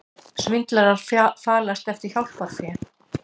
Svindlarar falast eftir hjálparfé